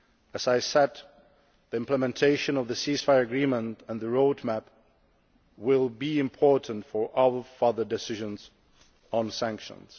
As I have said, the implementation of the ceasefire agreement and the road map will be important for all further decisions on sanctions.